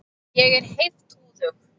Ég er heiftúðug.